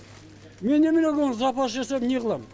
мен немнеге запас жасап неғылам